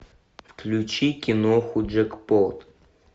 включи киноху джекпот